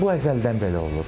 Bu əzəldən belə olub.